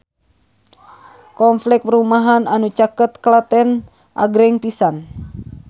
Kompleks perumahan anu caket Klaten agreng pisan